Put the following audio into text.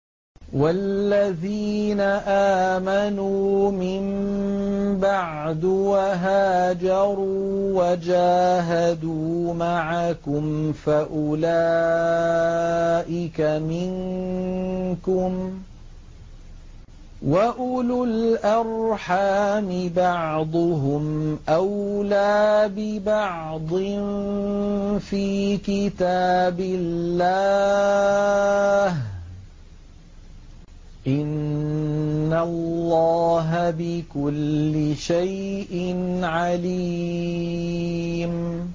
وَالَّذِينَ آمَنُوا مِن بَعْدُ وَهَاجَرُوا وَجَاهَدُوا مَعَكُمْ فَأُولَٰئِكَ مِنكُمْ ۚ وَأُولُو الْأَرْحَامِ بَعْضُهُمْ أَوْلَىٰ بِبَعْضٍ فِي كِتَابِ اللَّهِ ۗ إِنَّ اللَّهَ بِكُلِّ شَيْءٍ عَلِيمٌ